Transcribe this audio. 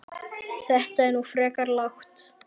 Þetta er nú frekar lágt